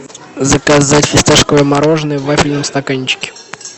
заказать фисташковое мороженое в вафельном стаканчике